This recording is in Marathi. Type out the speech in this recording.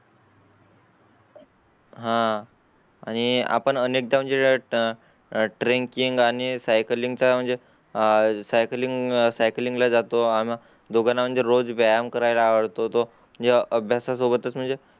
हां आणि आपण अनेकदा म्हणजे आह tracking आणि cycling चं म्हणजे आह cycling cycling ला जातो. आम्ही दोघे म्हणजे रोज व्यायाम करायला आवडतो. तो ज्या अभ्यासा सोबतच म्हणजे